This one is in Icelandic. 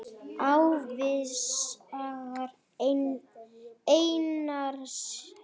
Ævisaga Einars ríka